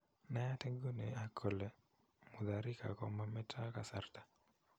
Nayat iguni ang kole Mutharika ko mameto kasarta